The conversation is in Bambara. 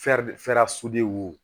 wo